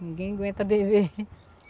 Ninguém aguenta beber.